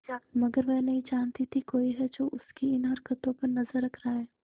मगर वह नहीं जानती थी कोई है जो उसकी इन हरकतों पर नजर रख रहा है